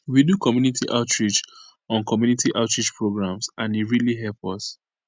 we do community outreach on community outreach programs and e really help us